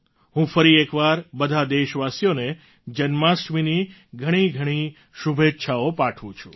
હું ફરી એકવાર બધા દેશવાસીઓ ને જન્માસ્ટમીની ઘણીઘણી શુભેચ્છાઓ પાઠવું છું